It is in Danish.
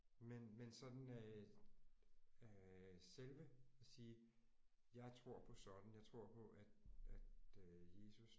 Men men sådan øh øh selve sige jeg tror på sådan jeg tror på at at øh Jesus